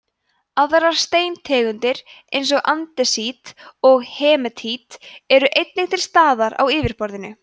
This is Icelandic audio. aðrar steintegundir eins og andesít og hematít eru einnig til staðar á yfirborðinu